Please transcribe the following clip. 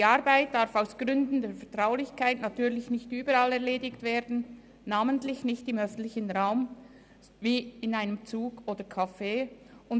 Die Arbeit darf aus Gründen der Vertraulichkeit natürlich nicht überall erledigt werden, namentlich nicht im öffentlichen Raum wie in einem Zug oder in einem Café.